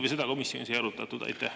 Või seda komisjonis ei arutatud?